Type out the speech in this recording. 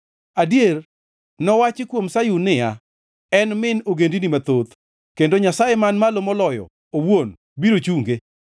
Adier, nowachi kuom Sayun niya, “En min ogendini mathoth, kendo Nyasaye Man Malo Moloyo owuon biro chunge.”